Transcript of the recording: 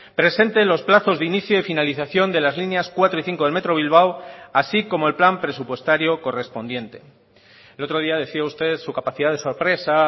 presente los plazos de inicio y finalización de las líneas cuatro y cinco del metro de bilbao así como el plan presupuestario correspondiente el otro día decía usted su capacidad de sorpresa